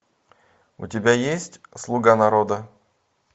у тебя есть слуга народа